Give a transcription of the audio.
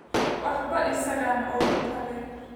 Waxba isagaan uga tagay